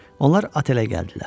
Onlar otelə gəldilər.